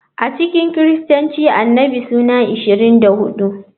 A cikin Kiristanci Annabi suna 24.